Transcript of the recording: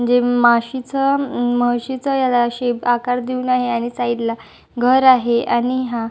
जे माशीच म म्हशीच याला शेप आकार देवून आहे आणि साइड ला घर आहे आणि हा --